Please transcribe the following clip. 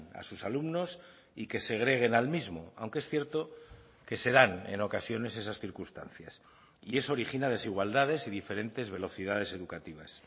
a sus alumnos y que segreguen al mismo aunque es cierto que se dan en ocasiones esas circunstancias y eso origina desigualdades y diferentes velocidades educativas